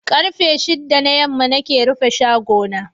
Karfe shidda na yamma nake rufe shago na.